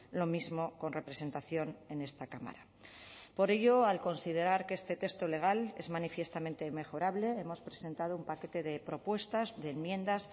lo mismo con representación en esta cámara por ello al considerar que este texto legal es manifiestamente mejorable hemos presentado un paquete de propuestas de enmiendas